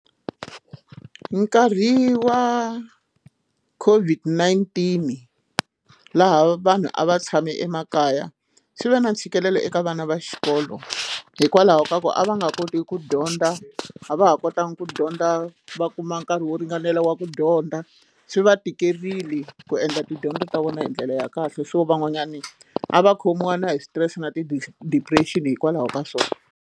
Nkarhi wa COVID-19 laha vanhu a va tshame emakaya swi ve na ntshikelelo eka vana va xikolo hikwalaho ka ku a va nga kotiki ku dyondza, a va ha kotanga ku dyondza va kuma nkarhi wo ringanela wa ku dyondza swi va tikerile ku endla tidyondzo ta vona hi ndlela ya kahle so van'wanyana a va khomiwa na hi switirese na ti-di depression hikwalaho ka swona.